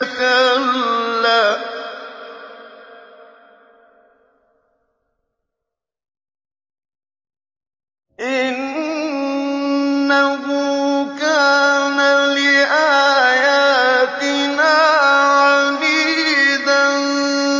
كَلَّا ۖ إِنَّهُ كَانَ لِآيَاتِنَا عَنِيدًا